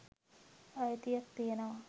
අයිතියක් තියෙනවා.